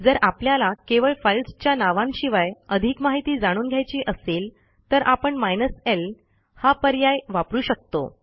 जर आपल्याला केवळ फाईल्सच्या नावांशिवाय अधिक माहिती जाणून घ्यायची असेल तर आपण माइनस ल हा पर्याय वापरू शकतो